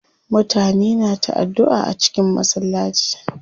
Mutane na ta addua a cikin masallaci.